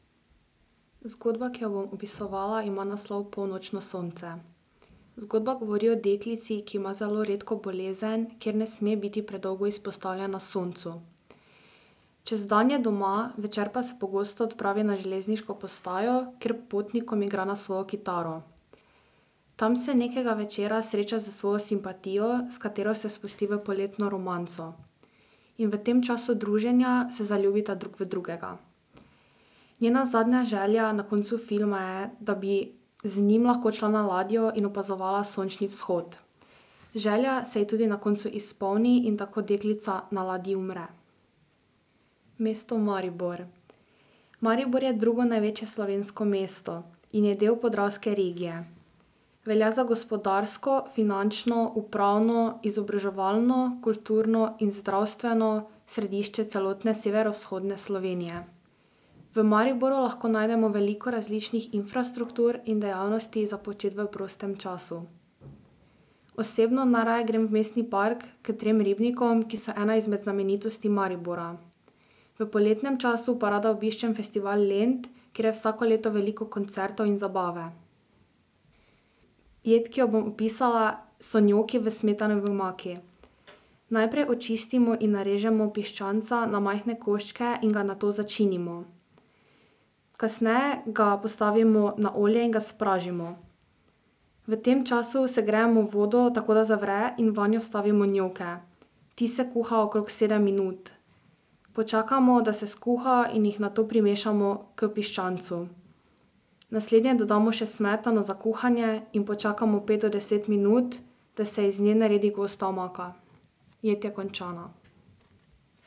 Zgodba, ki jo bom opisovala, ima naslov Polnočno sonce. Zgodba govori o deklici, ki ima zelo redko bolezen, ker ne sme biti predolgo izpostavljena soncu. Čez dan je doma, večer pa se pogosto odpravi na železniško postajo, kjer potnikom igra na svojo kitaro. Tam se nekega večera sreča s svojo simpatijo, s katero se spusti v poletno romanco. In v tem času druženja se zaljubita drug v drugega. Njena zadnja želja na koncu filma je, da bi z njim lahko odšla na ladjo in opazovala sončni vzhod. Želja se ji tudi na koncu izpolni in tako deklica na ladji umre. Mesto Maribor. Maribor je drugo največje slovensko mesto in je del Podravske regije. Velja za gospodarsko, finančno, upravno, izobraževalno, kulturno in zdravstveno središče celotne severovzhodne Slovenije. V Mariboru lahko najdemo veliko različnih infrastruktur in dejavnosti za početi v prostem času. Osebno najraje grem v Mestni park, k trem ribnikom, ki so ena izmed znamenitosti Maribora. V poletnem času pa rada obiščem Festival Lent, kjer je vsako leto veliko koncertov in zabave. Jed, ki jo bom opisala, so njoki v smetanovi omaki. Najprej očistimo in narežemo piščanca na majhne koščke in ga nato začinimo. Kasneje ga postavimo na olje in ga spražimo. V tem času segrejemo vodo, tako da zavre, in vanjo vstavimo njoke. Ti se kuhajo okrog sedem minut. Počakamo, da se skuha, in jih nato primešamo k piščancu. Naslednje dodamo še smetano za kuhanje in počakamo pet do deset minut, da se iz nje naredi gosta omaka. Jed je končana.